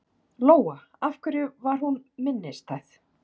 Lóa: Af hverju var hún minnistæð?